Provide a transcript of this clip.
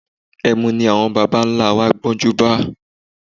Ẹmu ní àwọn bàbá-ńlá wa gbọ́njúbá